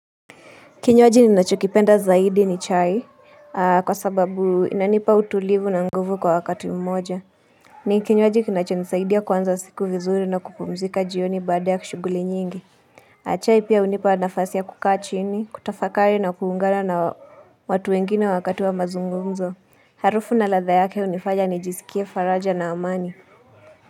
Kinywaji ninachokipenda zaidi ni chai kwa sababu inanipa utulivu na nguvu kwa wakati mmoja. Ni kinywaji kinachonisaidia kuanza siku vizuri na kupumzika jioni baada ya shughuli nyingi. Na chai pia hunipa nafasi ya kukaa chini, kutafakari na kuungana na watu wengine wakati wa mazungumzo. Harufu na ladha yake hunifanya nijiskie faraja na amani.